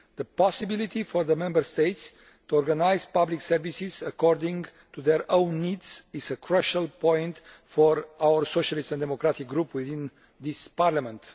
The possibility for the Member States to organise public services according to their own needs is a crucial point for our Socialist and Democratic Group within this Parliament.